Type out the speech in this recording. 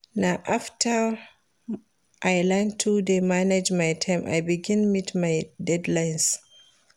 Na after I learn to dey manage my time I begin meet my deadlines